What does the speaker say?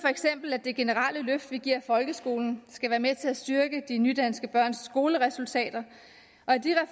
at det generelle løft vi giver folkeskolen skal være med til at styrke de nydanske børns skoleresultater